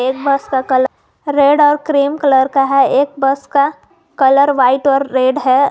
एक बस का colour red और क्रीम कलर का है एक बस का कलर व्हाइट और रेड है।